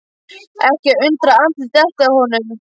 Ekki að undra að andlitið detti af honum.